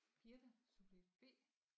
Birthe subjekt B